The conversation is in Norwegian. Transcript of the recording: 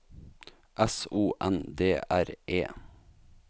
S O N D R E